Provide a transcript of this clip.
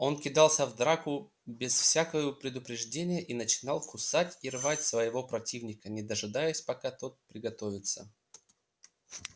он кидался в драку без всякою предупреждения и начинал кусать и рвать своего противника не дожидаясь пока тот приготовится